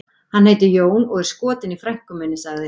Hann heitir Jón og er skotinn í frænku minni, sagði